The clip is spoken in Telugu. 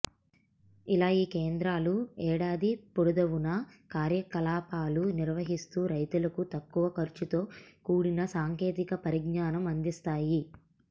ఇలా ఈ కేంద్రాలు ఏడాది పొడదవునా కార్యకలాపాలు నిర్వహిస్తూ రైతులకు తక్కువ ఖర్చుతో కూడిన సాంకేతిక పరిజ్ఞానం అందిస్తాయి